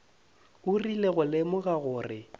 o rile go lemoga gore